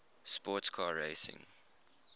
sports car racing